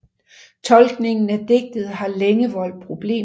Tolkningen af digtet har længe voldt problemer